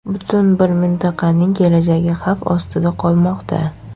Butun bir mintaqaning kelajagi xavf ostida qolmoqda.